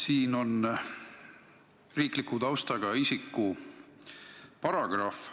Eelnõus on riikliku taustaga isiku paragrahv.